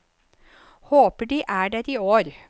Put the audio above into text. Håper de er der i år.